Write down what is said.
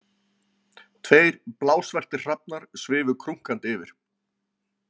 Tveir blásvartir hrafnar svifu krunkandi yfir.